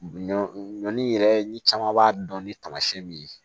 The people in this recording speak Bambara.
Ɲɔ ɲɔ yɛrɛ ni caman b'a dɔn ni tamasiyɛn min ye